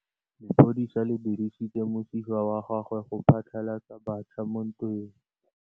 Lepodisa le dirisitse mosifa wa gagwe go phatlalatsa batšha mo ntweng.